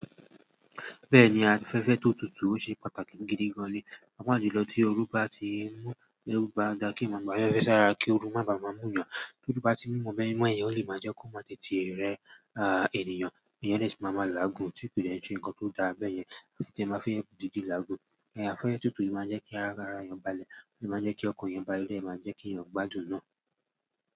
Bẹ́ẹ̀ni, afẹ́fẹ́ tó tutù ṣe pàtàkì gidi gan ni. Pàápàá jùlọ tí oru bá ti mú, oru bá dà kí eniyan gba afẹ́fẹ́ sáré kí oru má bàa mú yàn. Torí bá ti mí mọ́, ẹ̀mí mọ́ yẹn ò lè má jẹ́ kó má tètè rẹ́ ènìyàn. Èeyàn dẹ sì máa ma làágùn, tí kòì de se nǹkan tó dàa bẹ́yẹn, titi tí ẹ máa fí n dìde làágùn. Afẹ́fẹ́ tó tutù yìí máa ń jẹ́ kí ara èèyàn balẹ̀, o de máa ń jẹ́ kí ọkàn èèyàn balẹ̀, o de máa jẹ́ kí èèyàn gbádùn náa.